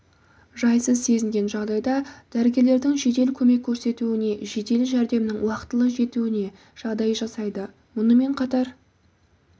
жайсыз сезінген жағдайда дәрігерлердің жедел көмек көрсетуіне жедел жәрдемнің уақытылы жетуіне жағдай жасайды мұнымен қатар